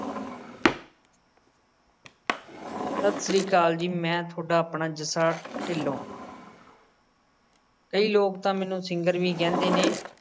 ਸਤਿ ਸ਼੍ਰੀ ਅਕਾਲ ਜੀ ਮੈਂ ਥੋਡਾ ਆਪਣਾ ਜੱਸਾ ਢਿੱਲੋਂ ਕਈ ਲੋਕ ਤਾਂ ਮੈਨੂੰ singer ਵੀ ਕਹਿੰਦੇ ਨੇ।